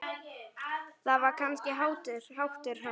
Það var kannski háttur hans.